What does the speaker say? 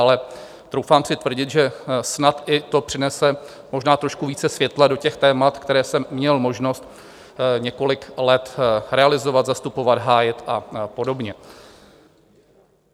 Ale troufám si tvrdit, že snad i to přinese možná trošku více světla do těch témat, která jsem měl možnost několik let realizovat, zastupovat, hájit a podobně.